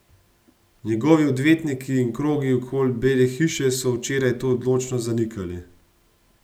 Njegovi odvetniki in krogi okoli Bele hiše so včeraj to odločno zanikali.